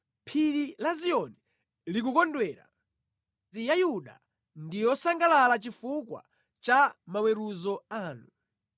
Phiri la Ziyoni likukondwera, midzi ya Yuda ndi yosangalala chifukwa cha maweruzo anu.